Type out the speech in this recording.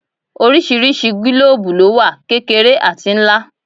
Oríṣiríṣi gílòòòbù lówà: kékeré àti ńlá.